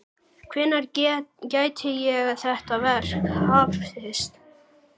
Hvenær gæti þetta verk hafist?